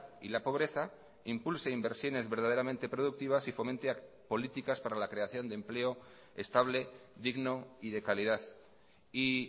y la pobreza impulse inversiones verdaderamente productivas y fomente políticas para la creación de empleo estable digno y de calidad y